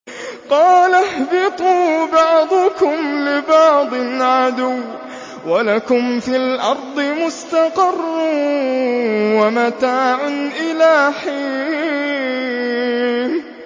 قَالَ اهْبِطُوا بَعْضُكُمْ لِبَعْضٍ عَدُوٌّ ۖ وَلَكُمْ فِي الْأَرْضِ مُسْتَقَرٌّ وَمَتَاعٌ إِلَىٰ حِينٍ